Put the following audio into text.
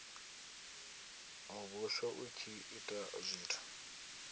muvhuso u tshi ita zwithu